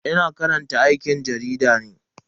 Ina karantar aikin jarida ne.